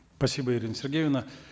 спасибо ирина сергеевна